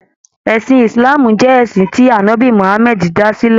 Ẹ̀sìn Ìsìláàmù jẹ́ ẹ̀sìn tí ànọ́bì Muhammadu dá sílẹ̀.